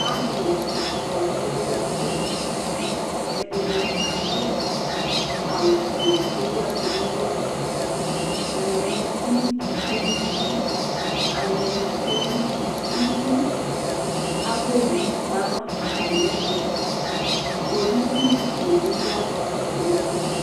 Alʋ kɔ kpekpekpe; ɛdɩnɩ adʋ awʋ fue k'ewu ɛkʋ nɛlʋƐlɛnti nɩ tsue nʋ ti, aŋɛ nɩ tsue nʋ utiAva owu ma nʋ atamɩɛtʋKpolisi nɩ bɩ ya natamɩ ɛtʋ